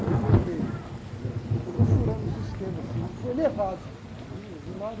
Eu entrei no meio, quer dizer, fui furando os esquemas, assim, fui levado de um lado.